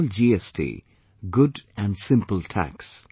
I call GST, Good and Simple Tax